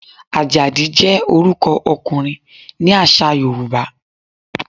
Àjàdí jẹ́ orúkọ ọkùnrin ní àṣà Yorùbá.